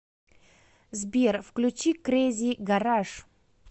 сбер включи крэзи гараж